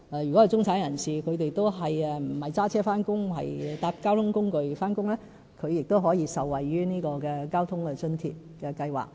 如果中產人士不是駕車返工，而是乘搭公共交通工具上班，他們亦可受惠於交通費津貼計劃。